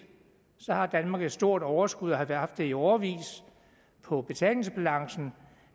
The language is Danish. har danmark et stort overskud og har haft det i årevis på betalingsbalancen